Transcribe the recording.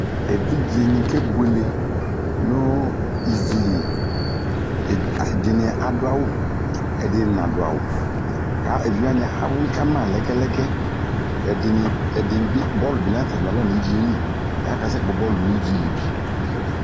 Evidzeni kebuele nu ivili ɛdini adʊ awu ɛdini nadu awu eviwani awli kama lɛkɛ lɛkɛ ɛdibi bɔlʊ bi natakama nu ivili ɛdini kasɛ kpɔ bɔlʊ nu iviɛli